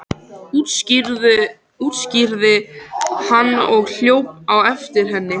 útskýrði hann og hljóp á eftir henni.